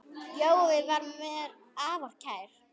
Jói var mér afar kær.